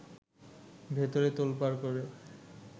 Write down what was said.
ভেতরে তোলপাড় করে